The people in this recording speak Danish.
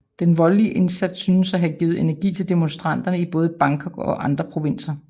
Den voldelige indsats syntes at have givet energi til demonstranterne i både Bangkok og andre provinser